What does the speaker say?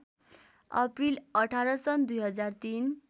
April १८ सन् २००३